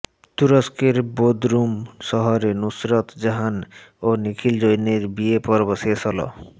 তুরষ্কের Bodrum শহরে নুসরত জাহান ও নিখিল জৈনের বিয়ে পর্ব শেষ হল